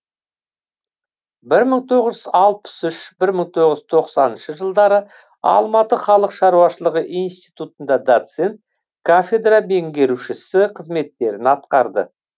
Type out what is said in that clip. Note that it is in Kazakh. бір мың тоғыз жүз алпыс үш бір мың тоғыз жүз тоқсан тоғызыншы жылдары алматы халық шаруашылығы институтында доцент кафедра меңгерушісі қызметтерін атқарды